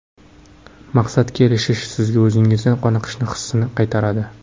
Maqsadga erishish sizga o‘zingizdan qoniqish hissini qaytaradi.